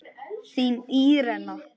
Þín Írena.